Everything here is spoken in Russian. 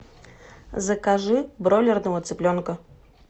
закажи бройлерного цыпленка